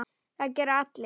Það gera allir.